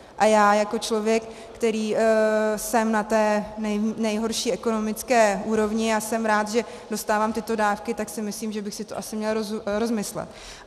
A já jako člověk, který jsem na té nejhorší ekonomické úrovni a jsem rád, že dostávám tyto dávky, tak si myslím, že bych si to asi měl rozmyslet.